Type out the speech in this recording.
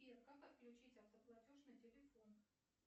сбер как отключить автоплатеж на телефон